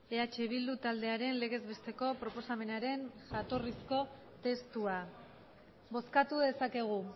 eh bildu taldearen legez besteko proposamenaren jatorrizko testua bozkatu dezakegu